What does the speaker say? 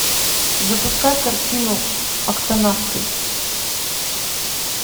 запускай картину октонавты